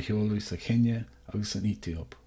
a sheoladh sa chéinia agus san aetóip